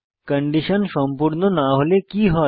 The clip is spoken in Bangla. কন্ডিশন সম্পূর্ণ না হলে কি হয়